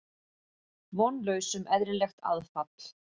Vonlaus um eðlilegt aðfall.